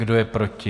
Kdo je proti?